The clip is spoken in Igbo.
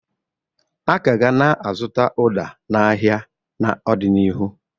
A ka ga na-azụta ụda n'ahịa n'ọdịnihu.